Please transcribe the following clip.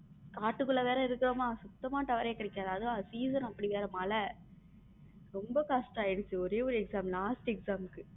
காட்டுக்குள்ள வேற இருக்கோமா சுத்தமா tower ரே கிடைக்காது season அப்படி வேற மழை ரொம்ப கஷ்டமாயிடுச்சு ஒரே ஒரு exam last exam.